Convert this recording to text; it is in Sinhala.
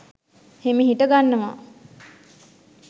හිමිහිට ගන්නවා